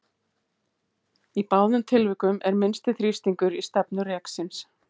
Í báðum tilvikum er minnsti þrýstingur í stefnu reksins.